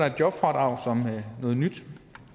et jobfradrag